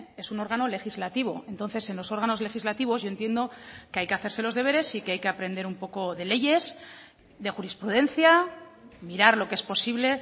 es un órgano legislativo entonces en los órganos legislativos yo entiendo que hay que hacerse los deberes y que hay que aprender un poco de leyes de jurisprudencia mirar lo que es posible